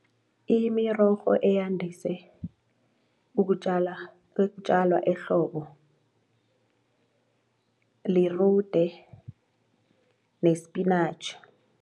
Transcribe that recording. Imirorho eyandise ukutjalwa ehlobo lirude nespinatjhi.